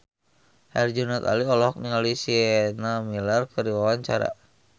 Herjunot Ali olohok ningali Sienna Miller keur diwawancara